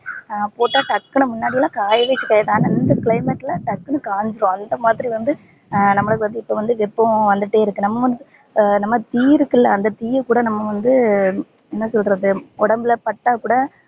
போட்டா டக்குனு முன்னாடிலா காயவே காயாது ஆனா இந்த climate ல டக்குனு காஞ்சிரும் அந்த மாதிரி வந்து நம்பலுக்கு வந்து இப்ப வெப்பம் வந்துட்டே இருக்கு நம்ப வந்து நம்ம தீ இருக்குல அந்த தீய கூட நம்ப வந்து என்ன சொல்றது உடம்புல பட்டா கூட